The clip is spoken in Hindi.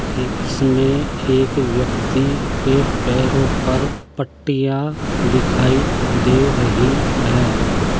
ही इसमें एक व्यक्ति के पैरों पर पट्टियाँ दिखाई दे रही हैं।